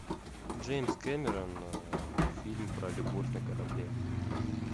джеймс кэмерон фильм про любовь на корабле